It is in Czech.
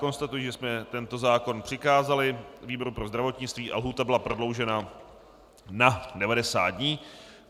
Konstatuji, že jsme tento zákon přikázali výboru pro zdravotnictví a lhůta byla prodloužena na 90 dní.